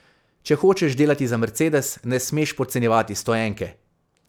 Če hočeš delati za Mercedes, ne smeš podcenjevati stoenke.